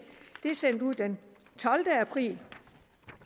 det er sendt ud den tolvte april